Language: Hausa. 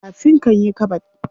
Kafin kan yi kabod.